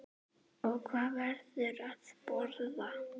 Og hvað verður að borða?